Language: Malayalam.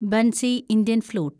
Bansi (Indian flute)